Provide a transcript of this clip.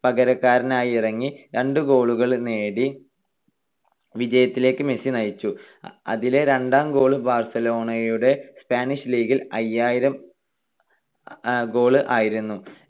പകരക്കാരനായി ഇറങ്ങി രണ്ട് goal കൾ നേടി വിജയത്തിലേക്ക് മെസ്സി നയിച്ചു. അതിലെ രണ്ടാം goal ബാർസലോണയുടെ സ്പാനിഷ് ലീഗിൽ അയ്യായിരം goal ആയിരുന്നു.